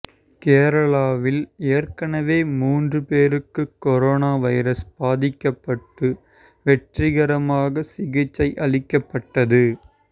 கேரளாவில் ஏற்கெனவே மூன்று பேருக்கு கொரோனா வைரஸ் பாதிக்கப்பட்டு வெற்றிகரமாகச் சிகிச்சை அளிக்கப்பட்டது